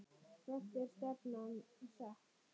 Hvert er stefnan sett?